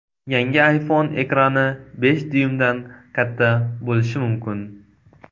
Yangi iPhone ekrani besh dyuymdan katta bo‘lishi mumkin.